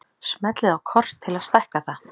Smellið á kort til að stækka það.